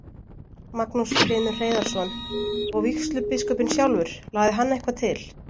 Magnús Hlynur Hreiðarsson: Og vígslubiskupinn sjálfur, lagði hann eitthvað til?